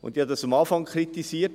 Ich habe dies am Anfang kritisiert.